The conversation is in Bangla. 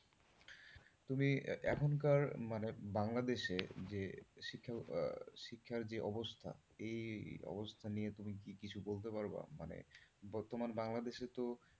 তুমি এখনকার মানে বাংলাদেশে যে শিক্ষার শিক্ষার যে অবস্থা এই অবস্থা নিয়ে তুমি কি কিছু বলতে পারবা? মানে বর্তমান বাংলাদেশে তো,